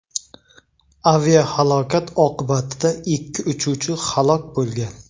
Aviahalokat oqibatida ikki uchuvchi halok bo‘lgan.